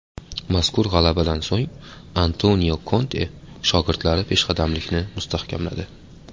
Mazkur g‘alabadan so‘ng Antonio Konte shogirdlari peshqadamlikni mustahkamladi.